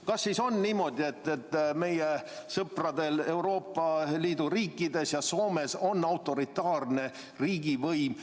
Kas siis on niimoodi, et meie sõpradest Euroopa Liidu riikides, näiteks Soomes on autoritaarne riigivõim?